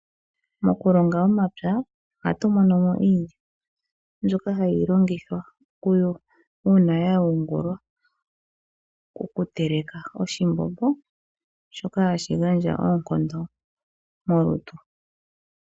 Mokulonga omapya ohatu monomo iilya mbyoka hayi longithwa okuyo uuna ya yungulwa . Oku teleka oshimbombo shoka hashi gandja oonkondo molutu.